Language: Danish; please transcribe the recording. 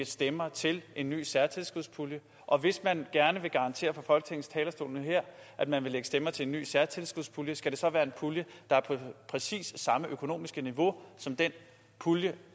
stemmer til en ny særtilskudspulje og hvis man gerne vil garantere for at man vil lægge stemmer til en ny særtilskudspulje skal det så være en pulje der er på præcis samme økonomiske niveau som den pulje